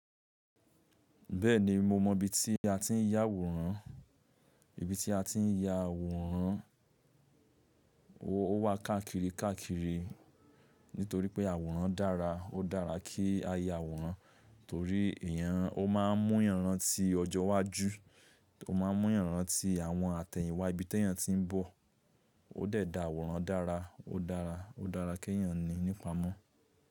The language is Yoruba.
Bẹ́ẹ̀ni, mo mọ ibi tí a ti ń ya àwòrán. Ibi tí a ti ń ya àwòrán, ó wà káàkiri káàkiri nítorí pé àwòrán dára. Ó dára kí a ya àwòrán torí èèyàn ó máa ń mú èèyàn rántí ọjọ́ iwájú, ó máa ń mú èèyàn rántí àwọn àtẹ̀yìnwá ibi tí èèyàn ti ń bọ̀. Ó dẹ̀ da àwòrán dára, ó dára, ó dára kí èèyàn ní n'ípamọ́